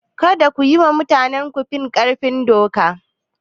Kada ku yi tunanin kun fi ƙarfin doka!